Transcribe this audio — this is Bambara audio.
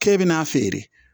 K'e bɛna feere